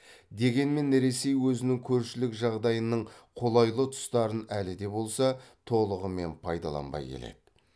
дегенмен ресей өзінің көршілік жағдайының қолайлы тұстарын әлі де болса толығымен пайдаланбай келеді